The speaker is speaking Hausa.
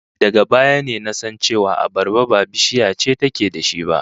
Daga baya ne na san cewa abarba ba bishiya ce take da shi ba